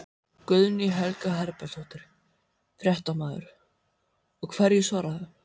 Guðný Helga Herbertsdóttir, fréttamaður: Og hverju svararðu?